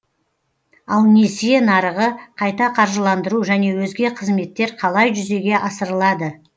ал несие нарығы қайта қаржыландыру және өзге қызметтер қалай жүзеге асырылады